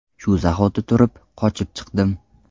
Shu zahoti turib, qochib chiqdim.